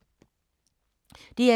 DR2